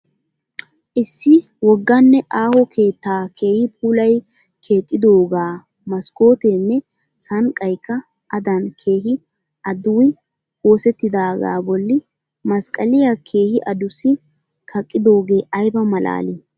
Issi wogganne aaho keettaa keehi puulayi keexxidoogaa maskooteenne sanqqayikka adan keehi aduwwi oosettidoogaa bolli masqqaliya keehi adussi kaqqidoogee ayiba malaali!